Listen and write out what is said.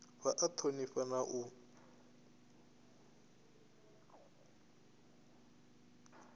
vha a thonifha na u